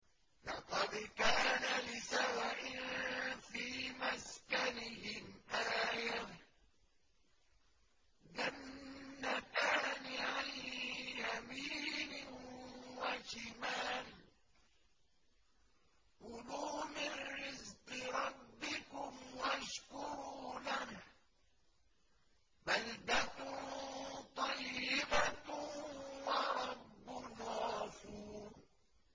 لَقَدْ كَانَ لِسَبَإٍ فِي مَسْكَنِهِمْ آيَةٌ ۖ جَنَّتَانِ عَن يَمِينٍ وَشِمَالٍ ۖ كُلُوا مِن رِّزْقِ رَبِّكُمْ وَاشْكُرُوا لَهُ ۚ بَلْدَةٌ طَيِّبَةٌ وَرَبٌّ غَفُورٌ